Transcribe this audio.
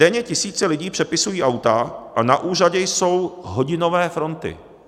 Denně tisíce lidí přepisují auta a na úřadě jsou hodinové fronty.